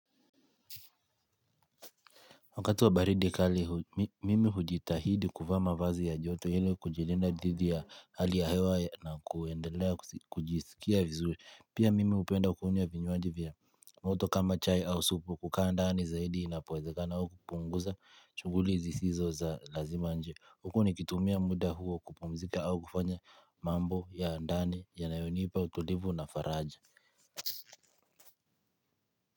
Wakati wa baridi kali mimi hujitahidi kuvaa mavazi ya joto ile kujilinda dhidhi ya hali ya hewa na kuendelea kujisikia vizuri. Pia mimi hupenda kunywa vinywaji vya moto kama chai au supu kukaa ndani zaidi inapowezekana au kupunguza chughuli zisizo za lazima nje. Huku nikitumia muda huo kupumzika au kufanya mambo ya ndani yanayonipa utulivu na faraja.